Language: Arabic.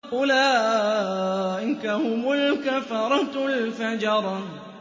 أُولَٰئِكَ هُمُ الْكَفَرَةُ الْفَجَرَةُ